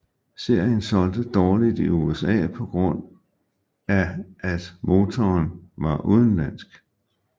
Serien solgte dårligt i USA på grund af at motoren var udenlandsk